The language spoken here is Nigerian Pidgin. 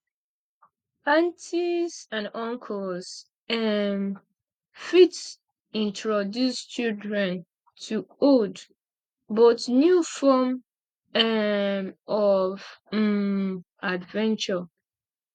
aunties and uncles um fit introduce childern to old but new form um of um adventure